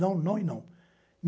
Não, não e não.